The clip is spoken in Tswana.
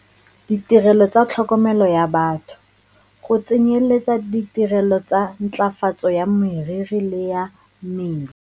Ditirelo tsa tlhokomelo ya batho, go tsenyeletsa ditirelo tsa ntlafatso ya meriri le ya mmele.